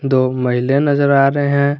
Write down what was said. दो महिलाए नजर आ रहे है।